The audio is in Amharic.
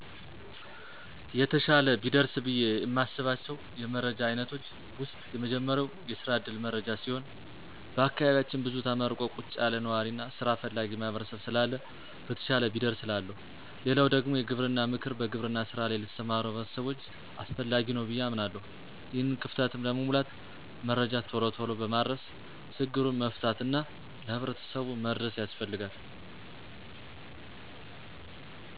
የተሻለ ቢደርስ ብዬ እማስባቸው የመረጃ አይነቶች ዉስጥ የመጀመሪያው የስራ ዕድል መረጃ ሲሆን በአካባቢያችን ብዙ ተመርቆ ቁጭ ያለ ነዋሪ እና ሥራ ፈላጊ ማህበረሰብ ስላለ በተሻለ ቢደርስ እላለሁ። ሌላው ደግሞ የግብርና ምክር በግብርና ሥራ ላይ ለተሰማሩ ሕብረተሰቦች አስፈላጊ ነው ብዬ አምናለሁ። ይሄንን ክፍተትም ለመሙላት መረጃ ቶሎ ቶሎ በማድረስ ችግሩን መፍታት እና ለሕብረተሰቡ መድረስ ያስፈልጋል።